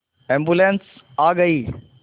ambulance आ गई